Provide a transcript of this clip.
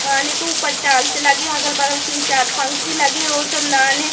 खाने के ऊपर टाइल्स लगे हैं अगल बगल तीन चार पंखे लगे हैं रोशनदान हैं।